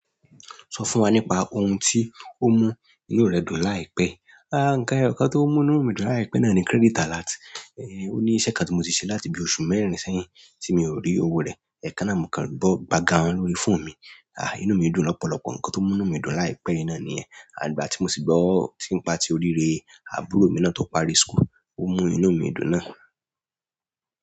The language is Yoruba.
Sọ fún wa nípa ohun tí ó mú inú rẹ dùn láìpẹ́. Àá, ǹkan eyoka tí ó mú inú mi dùn láìpẹ́ náà ni credit alert. Ó ní iṣẹ́ kàn tí mo ti ṣe láti bi oṣù mẹ́rin sẹ́yìn tí mi ò rí owó rẹ̀. Ẹ̀ekan náà mo kàn gbọ́ gbàgáun lórí fóònù mi. Àá, inú mi dùn lọ́pọ̀lọpọ̀. Ǹkan tó mú inú mi dùn láìpẹ́ nìyẹn náà niyen. Àti ígbà tí mo sì gbọ́ ti n pa ti òrire àbúrò mi náà tó parí school, ó mú inú mi dùn náà.